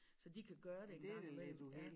Så de kan gøre det en gang i mellem ja